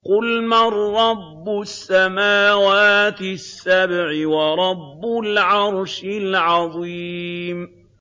قُلْ مَن رَّبُّ السَّمَاوَاتِ السَّبْعِ وَرَبُّ الْعَرْشِ الْعَظِيمِ